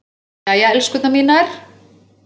Jæja, elskurnar mínar.